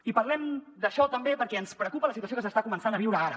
i parlem d’això també perquè ens preocupa la situació que s’està començant a viure ara